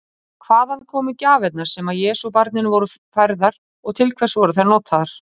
Hvaðan komu gjafirnar sem Jesúbarninu voru færðar og til hvers voru þær notaðar?